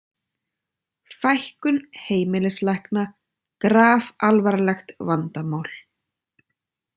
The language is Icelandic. Fækkun heimilislækna grafalvarlegt vandamál